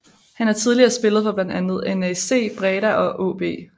Han har tidligere spillet for blandt andet NAC Breda og AaB